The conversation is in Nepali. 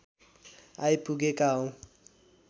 आइपुगेका हौँ